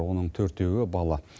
оның төртеуі бала